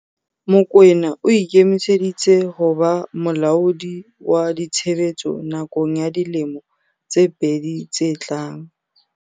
Mokoena o ikemiseditse ho ba molaodi wa ditshebetso nakong ya dilemo tse pedi tse tlang.